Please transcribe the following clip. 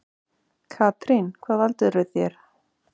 Katrín: Hvað valdirðu þér?